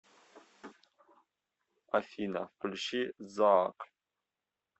афина включи заак